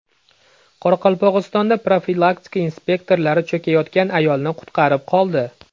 Qoraqalpog‘istonda profilaktika inspektorlari cho‘kayotgan ayolni qutqarib qoldi.